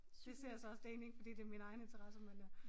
Det ser jeg så også det egentlig ikke fordi det min egen interesse men øh